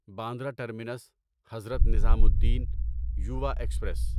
Bandra terminus Hazrat Nizamuddin Yuva express